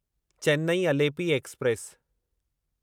Chennai Alleppey express